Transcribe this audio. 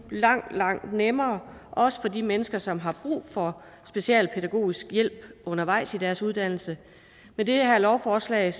langt langt nemmere også for de mennesker som har brug for specialpædagogisk hjælp undervejs i deres uddannelse med det her lovforslag